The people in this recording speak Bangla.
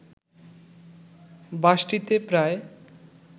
বাসটিতে প্রায়